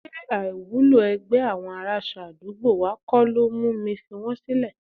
Ṣé àìwúlò ẹgbẹ́ àwọn aránṣọ àdúgbò wa kọ́ ló mú mi fi wọn sílẹ̀?